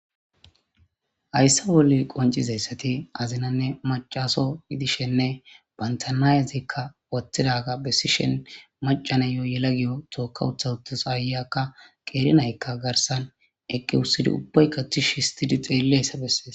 hayssa bolle qoncizayssati azinanne macaso yidishenne bantanayazikka watidaga bessishen macana yo yela giyo tookka utha uttus aayakka qeerinaykka garsan eqqi wussidi ubbaykka tish histidi xeelle hayssa bessees